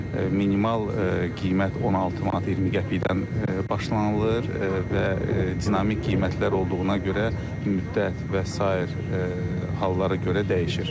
Minimal qiymət 16 manat 20 qəpikdən başlanılır və dinamik qiymətlər olduğuna görə müddət və sair hallara görə dəyişir.